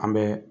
An bɛ